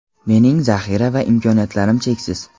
Mening zaxira va imkoniyatlarim cheksiz.